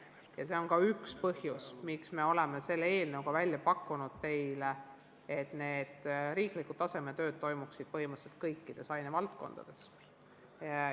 Ka see on üks põhjus, miks oleme selle eelnõuga välja pakkunud võimaluse, et riiklikud tasemetööd toimuksid põhimõtteliselt kõikides ainevaldkondades.